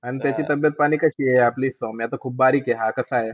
आणि त्याची तब्येतपाणी कशी आहे? आपली सौम्य तर खूप बारीक आहे, हा कसा आहे?